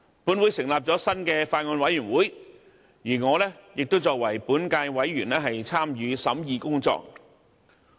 本會成立了新的法案委員會，而我亦作為本屆委員參與審議工作。